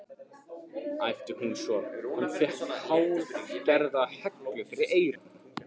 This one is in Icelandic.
æpti hún svo hann fékk hálfgerða hellu fyrir eyrun.